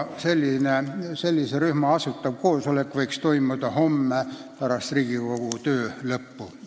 Selle rühma asutav koosolek võiks toimuda homme pärast Riigikogu töö lõppu.